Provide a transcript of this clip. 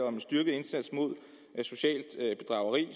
om en styrket indsats mod socialt bedrageri